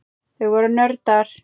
Þau voru nördar.